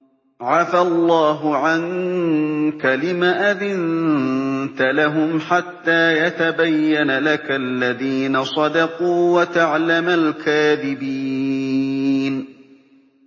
عَفَا اللَّهُ عَنكَ لِمَ أَذِنتَ لَهُمْ حَتَّىٰ يَتَبَيَّنَ لَكَ الَّذِينَ صَدَقُوا وَتَعْلَمَ الْكَاذِبِينَ